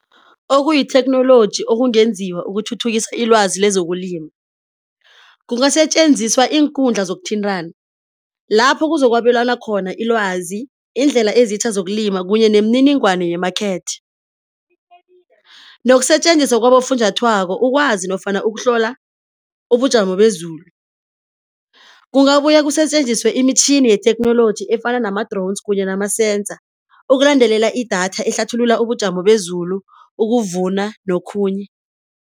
Okuyitheknoloji okungenziwa ukuthuthukisa ilwazi lezokulima. Kungasetjenziswa iinkundla zokuthintana lapho kuzo kwabelwana khona ilwazi, indlela ezitjha zokulima kunye nemininingwana ye-market. Nokusetjenziswa kwabofunjathwako ukwazi nofana ukuhlola ubujamo bezulu. Kungabuya kusetjenziswe imitjhini yetheknoloji efana nama-drones kunye nama-sensor ukulandelela idatha ehlathulula ubujamo bezulu, ukuvuna nokhunye.